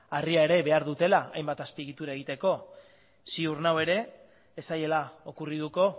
harria ere behar dutela hainbat azpiegitura egiteko ziur nago ere ez zaiela okurrituko